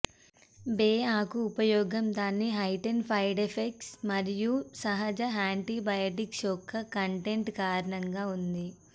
బే ఆకు ఉపయోగం దాని హైటన్ ఫైడ్స్కైడ్స్ మరియు సహజ యాంటీబయాటిక్స్ యొక్క కంటెంట్ కారణంగా ఉంది